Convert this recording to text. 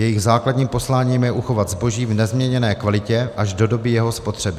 Jejich základním posláním je uchovat zboží v nezměněné kvalitě až do doby jeho spotřeby.